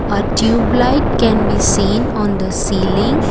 a tubelight can be seen on the ceiling.